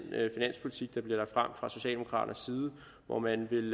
finanspolitik der bliver lagt frem fra socialdemokraternes side hvor man vil